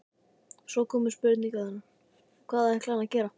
Svo komu spurningarnar: Hvað ætlaði hann að gera?